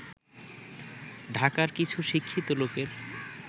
ঢাকার কিছু শিক্ষিত লোকের